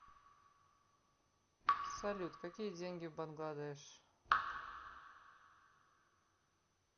салют какие деньги в бангладеш